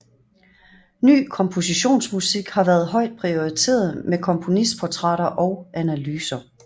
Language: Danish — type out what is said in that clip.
Ny kompositionsmusik har været højt prioriteret med komponistportrætter og analyser